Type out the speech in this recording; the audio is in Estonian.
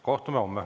Kohtume homme.